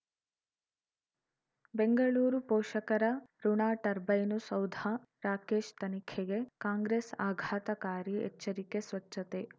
ಬೆಂಗಳೂರು ಪೋಷಕರಋಣ ಟರ್ಬೈನು ಸೌಧ ರಾಕೇಶ್ ತನಿಖೆಗೆ ಕಾಂಗ್ರೆಸ್ ಆಘಾತಕಾರಿ ಎಚ್ಚರಿಕೆ ಸ್ವಚ್ಛತೆ